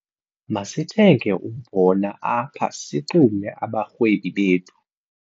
Masithenge umbona apha sixume abarhwebi bethu.